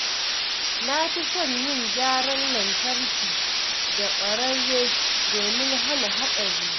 Na fi son yin gyaran lantarki da ƙwararre domin hana haɗari.